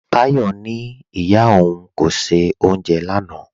Táyọ̀ ní ìyá ọ̀un kò ṣẹ̀ ọ́unjẹ̀ lánà